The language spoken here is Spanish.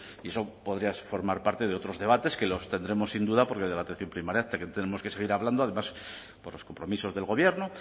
y eso podría formar parte de otros debates que los tendremos sin duda porque de la atención primaria tenemos que seguir hablando además por los compromisos del gobierno